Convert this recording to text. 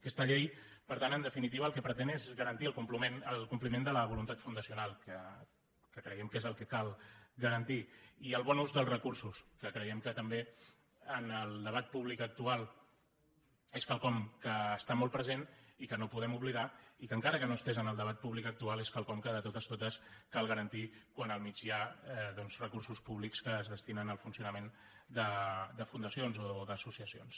aquesta llei per tant en definitiva el que pretén és garantir el compliment de la voluntat fundacional que creiem que és el que cal garantir i el bon ús dels recursos que creiem que també en el debat públic actual és quelcom que està molt present i que no podem oblidar i que encara que no estigués en el debat públic actual és quelcom que de totes totes cal garantir quan al mig hi ha doncs recursos públics que es destinen al funcionament de fundacions o d’associacions